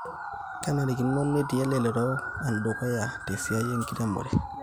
kenarino netii elelero endukuya tesiai enkiremore